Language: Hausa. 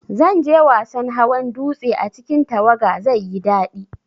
Zanje wasan hawan dutse a cikin tawaga, zaiyi dadi